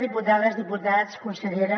diputades diputats consellera